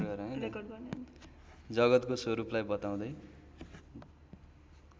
जगतको स्वरूपलाई बताउँदै